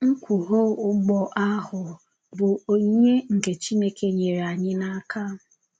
Nkwùghọ̀ ùgbọ̀ ahụ bụ onyìnyè nke Chìnékè nyèrè ányí n’ákà.